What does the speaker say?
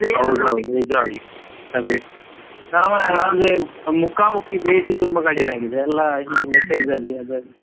ಹೌದ್ ಹೌದ್ ನಿಜವಾಗಿ ಅದೇ, ಮುಖಾಮುಖಿ ಭೇಟಿ ತುಂಬಾ ಕಡಿಮೆ ಆಗಿದೆ ಎಲ್ಲಾ ಹೀಗೆ message ಅಲ್ಲಿ ಅದ್ರಲ್ಲಿ.